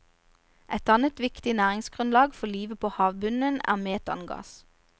Et annet viktig næringsgrunnlag for livet på havbunnen er metangass.